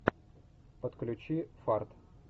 подключи фарт